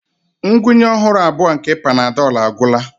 Ngwunye ọhụrụ abụọ nke Panadol agwụla.